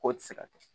K'o tɛ se ka kɛ